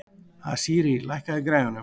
Asírí, lækkaðu í græjunum.